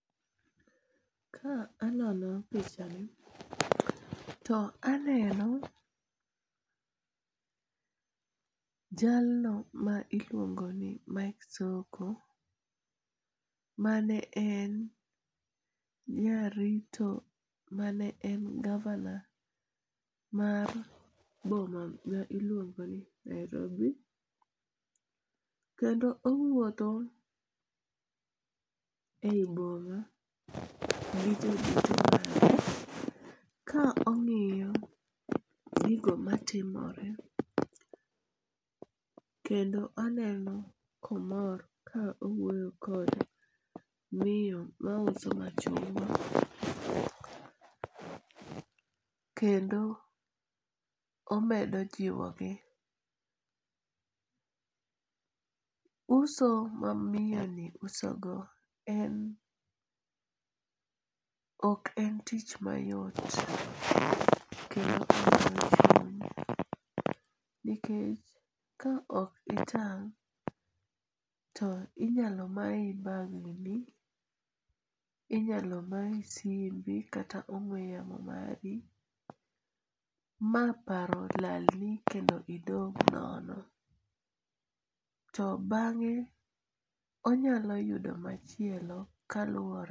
Ka anono pichani to aneno jalno ma iluongo ni Mike Sonko mane en jarito, mane en governor mar boma ma iluongoni Nairobi. kendo owuotho e yi boma gi jorito mage, ka ong'iyo gigo matimore kendo aneno ka omor ka owuoyo kod miyo mauso machungwa kendo omedo jiwogi. Uso ma miyoni usogodo en ok en tich mayot nikech ka ok itang' to inyalo mayi bagni, inyalo mayi simbi kata ongwe yamo mari ma paro lalni kendo idong' nono. To bang'e onyalo yudo machielo kaluore